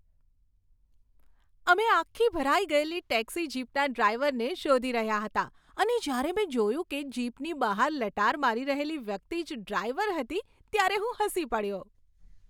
અમે આખી ભરાઈ ગયેલી ટેક્સી જીપના ડ્રાઈવરને શોધી રહ્યા હતા અને જ્યારે મેં જોયું કે જીપની બહાર લટાર મારી રહેલી વ્યક્તિ જ ડ્રાઈવર હતી, ત્યારે હું હસી પડ્યો.